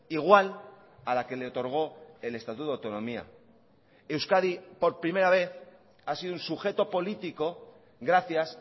igual a la que le otorgó el estatuto de autonomía euskadi por primera vez ha sido un sujeto político gracias